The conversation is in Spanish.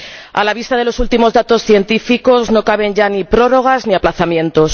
A la vista de los últimos datos científicos no caben ya ni prórrogas ni aplazamientos.